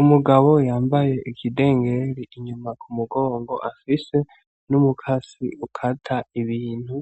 Umugabo yambaye ikidengeri inyuma ku mugongo afise n’umukasi ukata ibintu